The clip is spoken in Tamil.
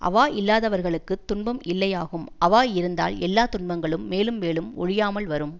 அவா இல்லாதவர்களுக்கு துன்பம் இல்லையாகும் அவா இருந்தால் எல்லா துன்பங்களும் மேலும் மேலும் ஒழியாமல் வரும்